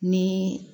Ni